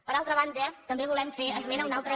per altra banda també volem fer esment d’una altra